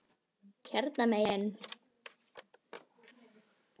Hérna megin.